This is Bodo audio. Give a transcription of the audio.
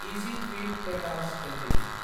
easy trip planners Ltd